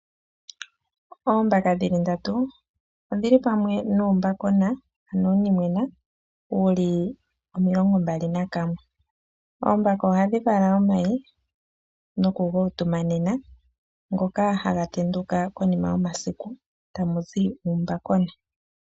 Oombaka dhi li ndatu odhi li pamwe nuumbakona, ano uunimwena wu li omilongo mbala nakamwe. Oombaka ohadhi vala omayi nokuga utumanena, ngoka haga tenduka konima yomasiku, tamu zi uumbakona.